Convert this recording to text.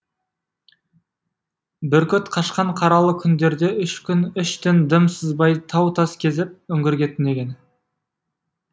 бүркіт қашқан қаралы күндерде үш күн үш түн дым сызбай тау тас кезіп үңгірге түнеген